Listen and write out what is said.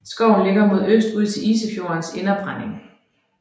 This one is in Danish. Skoven ligger mod øst ud til Isefjordens Inderbredning